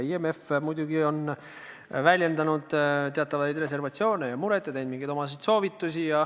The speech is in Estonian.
IMF muidugi on väljendanud teatavat reservatsiooni ja muret ning andnud omasid soovitusi.